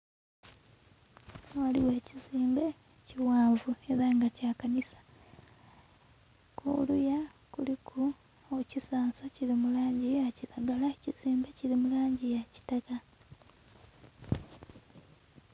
Ghano ghaligho ekizimbe ekighanvu nga kya kanisa kuluya kuliku ekisansa kiri mu langi eya kilagala, ekizimbe kili mulangi eya kitaka.